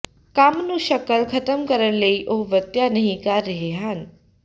ਕੰਮ ਨੂੰ ਸ਼ਕਲ ਖ਼ਤਮ ਕਰਨ ਲਈ ਉਹ ਵਰਤਿਆ ਨਹੀ ਕਰ ਰਹੇ ਹਨ